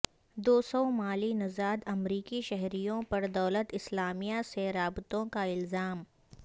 دو صومالی نژاد امریکی شہریوں پر دولت اسلامیہ سے رابطوں کا الزام